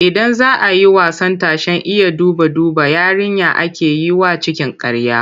Idan za a yi wasan tashen Iya duba-duba, yarinya ake yi wa cikin ƙarya.